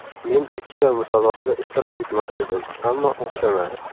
Men ikkita musobaqada ishtirok etmoqchi edim, ammo o‘xshamadi.